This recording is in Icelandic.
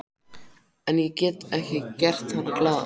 En ég get ekki gert hana glaða.